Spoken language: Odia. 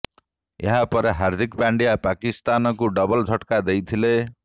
ଏହା ପରେ ହାର୍ଦ୍ଦିକ ପାଣ୍ଡ୍ୟା ପାକିସ୍ତାନକୁ ଡବଲ୍ ଝଟକା ଦେଇଥିଲେ